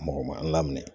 Mɔgɔ man laminɛ